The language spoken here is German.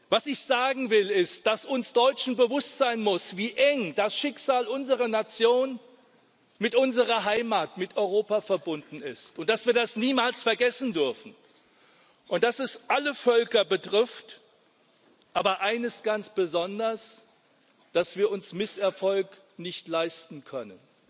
Was ich sagen will, ist, dass uns Deutschen bewusst sein muss, wie eng das Schicksal unserer Nation mit unserer Heimat, mit Europa, verbunden ist, und dass wir das niemals vergessen dürfen, und dass es alle Völker betrifft, aber eines ganz besonders, dass wir uns Misserfolg nicht leisten können.